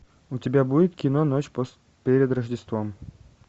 у тебя будет кино ночь перед рождеством